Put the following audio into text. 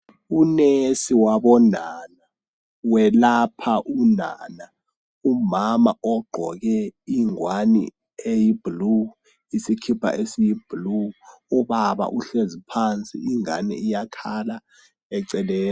Unesi wabonana welapha unana umama ogqoke ingwani eyiblue isikipa esiyiblue, ubaba uhlezi phansi ingani iyakhala eceleni.